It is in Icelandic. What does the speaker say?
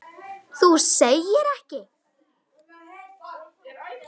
Þú segir ekki!?!